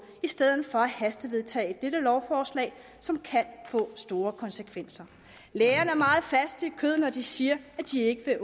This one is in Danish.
i stedet for at hastevedtage dette lovforslag som kan få store konsekvenser lægerne er meget faste i kødet når de siger at de ikke